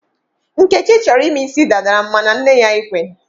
Nkechi chọrọ ịme isi dada mana nne ya ekweghị.